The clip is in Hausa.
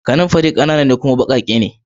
kananfari kanana ne kuma bakake ne